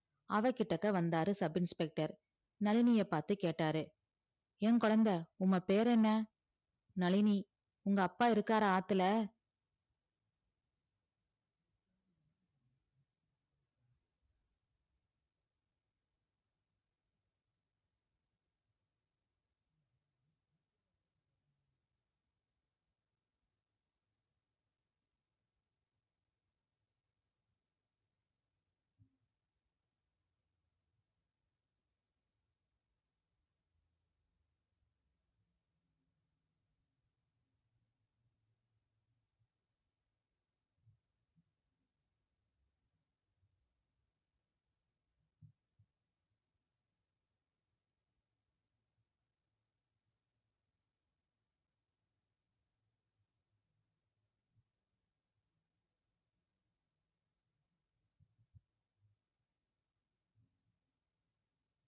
அவ கிட்டக்க வந்தாரு சப் இன்ஸ்பெக்டர் நளினியைப் பார்த்து கேட்டாரு ஏன் குழந்தை உம்ம பேர் என்ன நளினி உங்க அப்பா இருக்காரா ஆத்துல